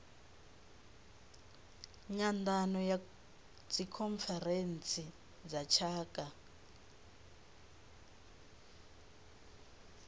nyandano ya dzikhonferentsi dza tshaka